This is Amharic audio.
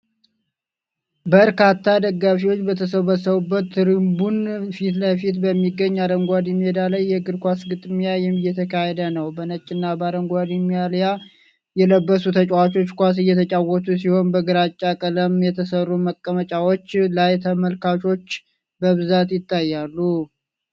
በርካታ ደጋፊዎች በተሰበሰቡበት ትሪቡን ፊት ለፊት በሚገኝ አረንጓዴ ሜዳ ላይ የእግር ኳስ ግጥሚያ እየተካሄደ ነው። በነጭና በአረንጓዴ ማልያ የለበሱ ተጫዋቾች ኳስ እየተጫወቱ ሲሆን፣ በግራጫ ቀለማት የተሰሩ መቀመጫዎች ላይ ተመልካቾች በብዛት ይታያሉ።